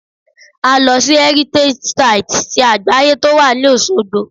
A lọ sí Heritage site ti àgbáyé to wà ní Osogbo